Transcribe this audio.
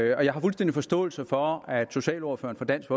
jeg har fuldstændig forståelse for at socialordføreren for dansk